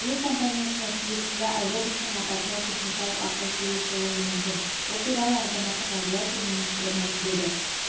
әуе компаниясына тиесілі аэробустың апатына техникалық ақау себеп болуы мүмкін бұл туралы азаматтық авиация министрі мәлімдеді